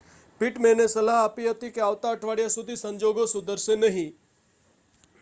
પિટમેનએ સલાહ આપી હતી કે આવતા અઠવાડિયા સુધી સંજોગો સુધરશે નહીં